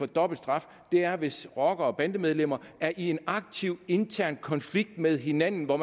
dobbelt straf er hvis rockere og bandemedlemmer er i en aktiv intern konflikt med hinanden hvor